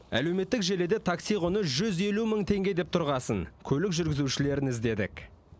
әлеуметтік желіде такси құны жүз елу мың теңге деп тұрғасын көлік жүргізушілерін іздедік